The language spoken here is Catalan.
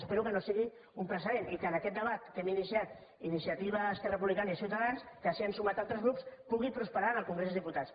espero que no sigui un precedent i que en aquest debat que hem iniciat iniciativa esquerra republicana i ciutadans al qual s’han sumat altres grups pugui prosperar en el congrés dels diputats